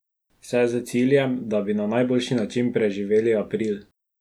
Vse s ciljem, da bi na najboljši način preživeli april.